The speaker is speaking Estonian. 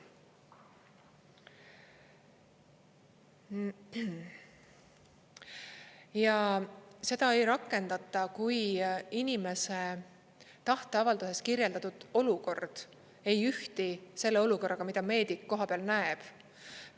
Ja seda ei rakendata, kui inimese tahteavalduses kirjeldatud olukord ei ühti selle olukorraga, mida meedik kohapeal näeb.